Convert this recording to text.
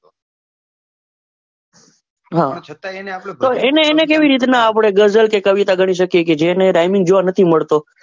હા તો એને કેવી રીતના આપડે ગઝલ કે કવિતા ગણી શકીએ જેની rhyming જોવા નથી મળતો.